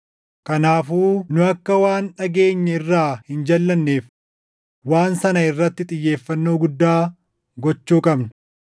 Kanaafuu nu akka waan dhageenye irraa hin jalʼanneef waan sana irratti xiyyeeffannoo guddaa gochuu qabna.